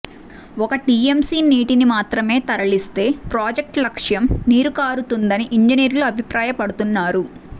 ఒక్క టీఎంసీ నీటిని మాత్రమే తరలిస్తే ప్రాజెక్టు లక్ష్యం నీరుగారుతుందని ఇంజనీర్లు అభిప్రాయపడుతున్నారు